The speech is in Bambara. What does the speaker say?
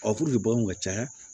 baganw ka ca